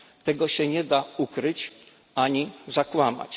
Tego się nie da ukryć ani zakłamać.